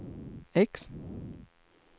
X